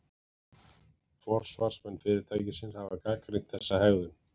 Forsvarsmenn fyrirtækisins hafa gagnrýnt þessa hegðun